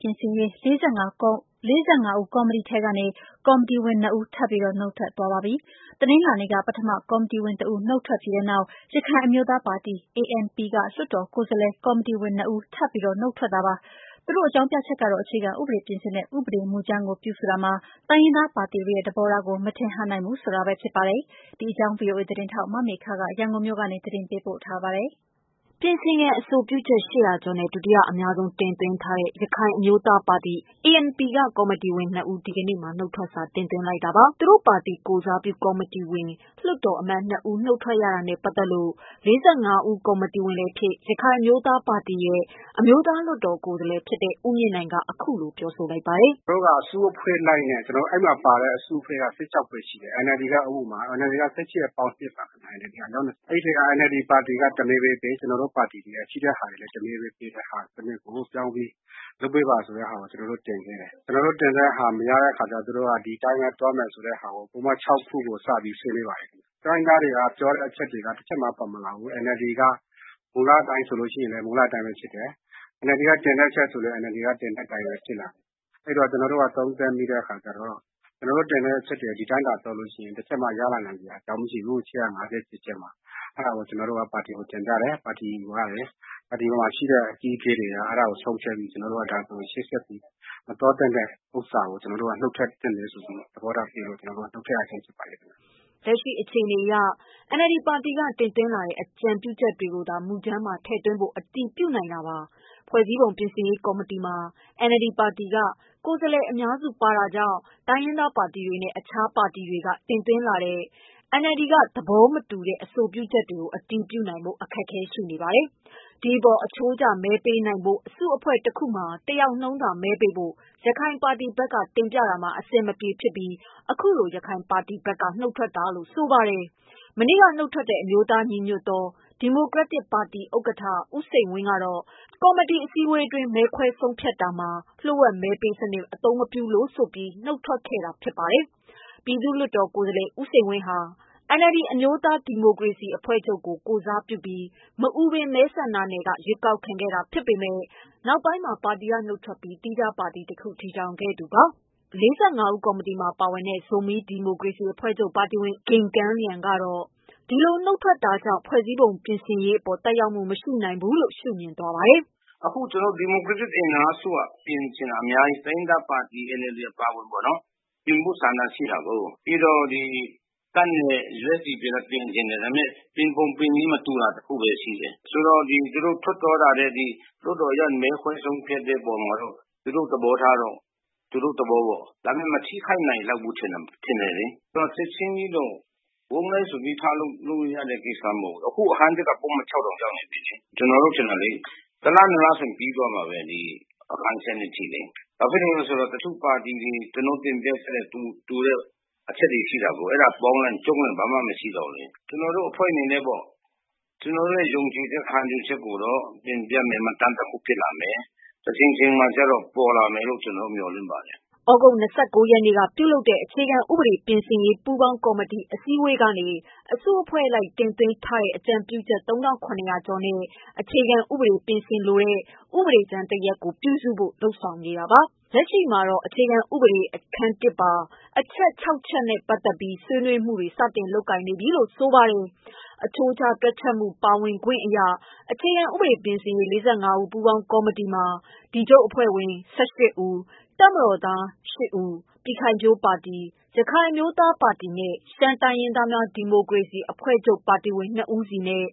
ပြင်ဆင်ရေး ၄၅ ဦး ကော်မတီထဲကနေ ကော်မတီဝင်နှစ်ဦး ထပ်ပြီး နုတ်ထွက်သွားပါပြီ။ တနင်္လာနေ့က ပထမကော်မတီဝင်တဦး နုတ်ထွက်ပြီးတဲ့နောက် ရခိုင် အမျိုးသားပါတီ ANP က လွှတ်တော်ကိုယ်စားလှယ် ကော်မတီဝင်နှစ်ဦး ထပ်ပြီး နုတ်ထွက်တာပါ။ သူတို့အကြောင်းပြချက်ကတော့ အခြေခံဥပဒေပြင်ဆင်တဲ့ ဥပဒေမူကြမ်းကို ပြုစုတာ မှာ တိုင်းရင်းသားပါတီတွေရဲ့သဘောထားကို မထင်ဟပ်နိုင်ဘူးဆိုတာပဲဖြစ်ပါတယ်။ ဒီအကြောင်း ဗွီအိုအေသတင်းထောက် မမေခက ရန်ကုန်မြို့ကနေ သတင်းပေးပို့ထားပါတယ်။ ပြင်ဆင်ရန်အဆိုပြုချက် ကျော်နဲ့ ဒုတိယအများဆုံးတင်သွင်းထားတဲ့ ရခိုင်အမျိုး သား ပါတီ က ကော်မီတီဝင် ၂ ဦး ဒီကနေ့မှာ နုတ်ထွက်စာ တင်သွင်းလိုက်တာပါ။ သူတို့ပါတီကိုယ်စားပြု ကော်မီတီဝင် လွှွတ်တော်အမတ် ၂ ဦး နုတ်ထွက်ရတာနဲ့ပတ်သတ်လို့ ၄၅ဦးကော်မတီဝင်လည်းဖြစ် ရခိုင်အမျိုးသားပါတီရဲ့ အမျိုးသားလွှတ်တော်ကိုယ်စားလှယ်လည်းဖြစ်တဲ့ ဦးမြင့်နိုင်က အခုလို ပြောပါတယ်။ “သူတို့က အစုအဖွဲ့လိုက်နဲ့ အဲမှာပါတာ ၁၆ဖွဲ့ရှိတယ်။ အဲဒီအထဲမှာ ကိုယ်စားလှယ်အများစုပါတဲ့ NLD တမဲဘဲပေး ကျနော်တို့ရှိတဲ့ ပါတီကလည်း တမဲဘဲပေးလုပ်ပေးပါဆိုတာကို ကျနော်တို့ တင်တယ်။ ကျနော်တို့ တင်တာ မရတဲ့အခါကျတော့ ကျနော်တို့ ဒီအတိုင်းပဲသွားမယ်ဆိုပြီး စဆွေးနွေးပါတယ်။ တိုင်းရင်းသားတွေပြောတာတွေလည်း တချက်မှမပါလာဘူး။ NLD က မူလအတိုင်းဆိုရင်လည်း မူလအတိုင်းဖြစ်တယ်။ NLD ကတင်တဲ့အချက်ဆိုရင်လည်း တင်တဲ့အချက်ဖြစ်လာတယ်။ အဲဒီတော့ ကျနော်တို့ သုံးသပ်မိတာတော့ ကျနော်တို့ တင်တဲ့အချက်တွေက ဒီအတိုင်းတင်တယ်ဆိုရင် တချက်မှ ရလာမှာမဟုတ်ဘူး ၈၅၁ ချက်မှာ။ အဲဒါကို ကျနော်တို့က ပါတီကို တင်ပြတယ် ။ ပါတီအကြီးအကဲတွေက ဆုံးဖြတ်ပြီး ဒါဆိုရင် ရှေ့ဆက်မသွားသင့်ဘူးဆိုတာကို နှုတ်ထွက်သင့်တယ်ဆိုပြီး သဘောထားပေးလို့ ကျနော်တို့ နှုတ်ထွက် ရတာဖြစ်ပါတယ်ခင်ဗျ။” လက်ရှိအခြေအနေအရ NLD ပါတီက တင်သွင်းထားတဲ့ အကြံပြုချက်တွေကိုသာ မူကြမ်းမှာ ထည့်သွင်းဖို့ အတည် ပြုနိုင်တာပါ။ ဖွဲ့စည်းပုံပြင်ဆင်ရေးကော်မီတီမှာ NLD ပါတီက ကိုယ်စားလှယ် အများစုပါဝင်တာကြောင့် တိုင်းရင်းသားပါတီတွေနဲ့ တခြားပါတီတွေက တင်သွင်းလာတဲ့ NLD က သေဘာမတူတဲ့ အဆိုပြုချက်တွေကို အတည်ပြုနိုင်ဖို့ အခက်အခဲ ရှိနေတာပါ။ ဒီအပေါ်အချိုးကျ မဲပေး နိုင်ဖို့ အစုအဖွဲ့ တခုမှာတယောက်နှုန်းသာ မဲပေးဖို့ ရခိုင်ပါတီဘက်က တင်ပြခဲ့တာမှာ အဆင်မပြေဖြစ်ပြီး အခုလိုရခိုင်ပါတီဘက်က နုတ်ထွက်တာလို့ ဆိုပါတယ်။ မနေ့ကနုတ်ထွက်တဲ့ အမျိုးသားညီညွတ်သော ဒီမိုကရက်တစ်ပါတီဥက္ကဌ ဦးစိန်ဝင်းကတော့ ကော်မတီ အစည်းအဝေးအတွင်း မဲခွဲဆုံးဖြတ်ဆောင်ရွက်တာမှာ လျှို့ ဝှက်မဲပေးစနစ် အသုံးမပြုလို့ဆိုပြီး နုတ်ထွက်ခဲ့ပါတယ်။ ပြည်သူ့လွှတ်တော်ကိုယ်စားလှယ် ဦးစိန်ဝင်းဟာ NLD အမျိုးသားဒီမိုကရေစီအဖွဲ့ချုပ်ကို ကိုယ်စားပြုပြီး မအူပင်မဲဆန္ဒနယ်က ရွေးကောက်ခံခဲ့ရတာ ဖြစ်ပေမယ့် နောက်ပိုင်းမှာ ပါတီက နုတ်ထွက်ပြီး သီးခြားပါတီတခုကို တည်ထောင်ခဲ့သူဖြစ်ပါတယ်။ ၄၅ဦးကော်မတီမှာ ပါဝင်တဲ့ ဇိုမီးဒီမိုကရေစီ အဖွဲ့ချုပ်ပါတီဝင် ဦးပူဂင့်ကမ်း လျန်က တော့ ဒီလိုနုတ်ထွက်တာတွေကြောင့်ဖွဲ့စည်းပုံပြင်ဆင်ရေးအပေါ် သက်ရောက်မှုမရှိ နိုင်ဘူးလို့ ရှုမြင်ပါတယ်။ “ အခုဒီမိုကရက်တစ်အင်အားစုက ပြင်ချင်တာအများကြီး။ NLD အပါအဝင်ပေါ့နော်။ ပြင်ဖို့ဆန္ဒရှိတာကို တပ်နဲ့ USDP ပြင်ချင်တာကလည်း ပြင်ပုံပြင်နည်းမတူတာဘဲရှိ တယ်။ ဆိုတော့သူတို့ထွက်သွားတာလဲ လွှတ်တော်တွင်းမဲခွဲဆုံးဖြတ်တာလဲသူတို့သ ဘောပေါ့။ မထိခိုက်နိုင်ဘူးထင်တယ်။ ချက်ချင်းတော့ ဝုန်းတိုင်းဆိုပြီး ထလုပ်ချက်ချင်းပြီးမှာတော့မဟုတ်ဘူး။ ကျနော်တု့ိထင်တာလေ ၁ လ ၂ လဆိုရင်ပြီးသွားမှာပဲ အခန်း ၁၂ အထိလေ ။ ဘာဖြစ်လို့လဲဆိုတော့ တချို့ပါတီတွေ တင်ပြလာတာ တူတဲ့အချက်တွေရှိတာကို ။ အဲဒါပေါင်းချုံ့လိုက်ရင် ဘာမှ မရှိတော့ဘူးလေ။ ကျနော်တို့အဖွဲ့အနေနဲ့ကတော့ ကျနော်တို့ ယုံကြည်ခံယူချက်ကိုတော့ တင်ပြတဲ့ မှတ်တမ်းတခုဖြစ်လာမယ်။ တချိန်ချိန်မှာတော့ ပေါ်လာမယ်လို့ ကျနော်မျှော်လင့်ပါတယ်။” သြဂုတ် ၂၉ ရက်က ပြုလုပ်တဲ့ အခြေခံဥပဒေပြင်ဆင်ရေး ပူးပေါင်းကော်မတီ အစည်းအဝေးကနေ အစု အဖွဲ့အလိုက် တင်သွင်းထားသည့် အကြံပြုချက် ၃,၇၀၀ ကျော်နဲ့ အခြေခံဥပဒေ ပြင် ဆင်သည့် ဥပဒေကြမ်းတစ်ရပ် ပြုစုဖို့ လုပ်ဆောင်နေ တာပါ။ လက်ရှိမှာတော့ အခြေခံဥပဒေအခန်း ပါ အချက် ၆ ချက် နဲ့ပတ်သတ် ပြီး ဆွေးနွေးမှုတွေစတင်လုပ်နေပြီလို့ ဆိုပါတယ်။ အချိုးကျ တွက်ချက်ပါဝင် ခွင့်အရ အခြေခံဥပဒေပြင်ဆင် ရေး ၄၅ ဦး ပူးပေါင်း ကော်မတီ တွင် ဒီချုပ်ပါတီဝင် ၁၈ဦး၊ တပ်မတော်သားရှစ်ဦး၊ ပြည်ခိုင်ဖြိုးပါတီ၊ ရခိုင်အမျိုးသားပါတီနဲ့ ရှမ်းတိုင်းရင်းသားများ ဒီမိုကရေစီအဖွဲ့ချုပ်ပါတီဝင် နှစ်ဦးစီ၊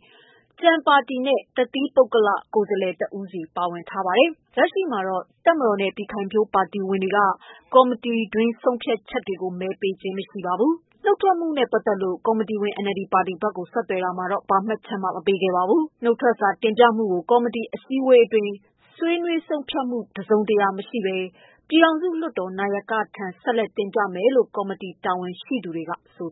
ကျန်ပါတီများနဲ့ တစ်သီးပုဂ္ဂလကိုယ်စားလှယ် တစ်ဦးစီပါဝင်ပါတယ်။ လက်ရှိတွင် တပ်မတော်နဲ့ ပြည်ခိုင်ဖြိုးပါတီဝင်များက ကော် မတီတွင်း ဆုံးဖြတ် ချက်များ၌ မဲ ပေးခြင်းမရှိပါဘူး။ နုတ်ထွက်မှုအပေါ် ကော်မတီဝင် NLD ပါတီဘက်ကို ဆက်သွယ်တာမှာ ဘာမှတ်ချက်မှမပေးပါဘူး။ နုတ်ထွက်စာ တင်ပြခြင်းမှုကို ကော်မတီအစည်း အဝေးအတွင်း ဆွေးနွေးဆုံးဖြတ် မှု တစ်စုံတစ်ရာမရှိဘဲ ပြည် ထောင်စုလွှတ်တော် နာယကထံ ဆက်လက်တင်ပြမယ်လို့ ကော်မ တီ တာဝန်ရှိသူများက ဆို